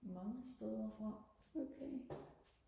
mange steder fra